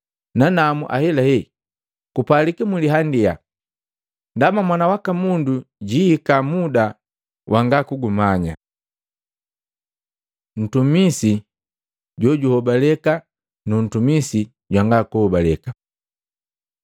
Nanamu, ahelahe kupalika mliandia, ndaba Mwana waka Mundu jiihika muda wanga kugumanya.” Ntumisi jojuhobaleka nu ntumisi jwanga kuhobaleka Matei 24:45-51